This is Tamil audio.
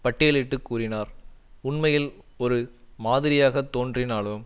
பட்டியலிட்டு கூறினார் உண்மையில் ஒரு மாதிரியாகத் தோன்றினாலும்